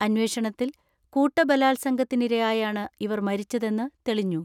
അന്വേഷണത്തിൽ കൂട്ടബലാ അംഗത്തിനിരയായാണ് ഇവർ മരിച്ചതെന്ന് തെളിഞ്ഞു.